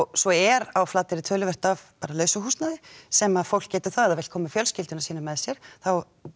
svo er á Flateyri bara töluvert af lausu húsnæði sem að fólk getur það vill koma með fjölskylduna sína með sér þá